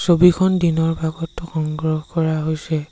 ছবিখন দিনৰ ভাগত সংগ্ৰহ কৰা হৈছে।